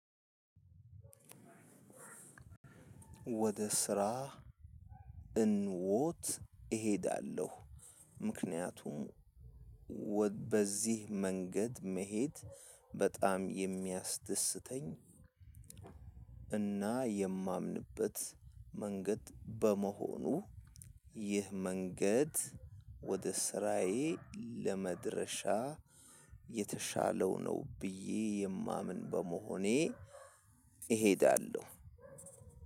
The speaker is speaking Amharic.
ወደ ስራ እንወት እሄዳለሁ ምክንያቱም በዚህ መንገድ መሄድ በጣም የሚያስደስተኝ እና የማምንበት መንገድ በመሆኑ። ይህ መንገድ ወደ ስራዬ ለመድረሻ የተሻለው ነው ብዬ የማምን በመሆኔ እሄዳለሁ።